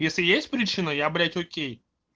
если есть причина я блять окей